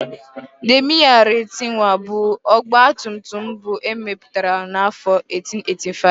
Daimler Reitwagen bụ ọgbatumtum mbụ emepụtara n'afọ 1885.